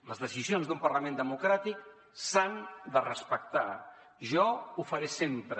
les decisions d’un parlament democràtic s’han de respectar jo ho faré sempre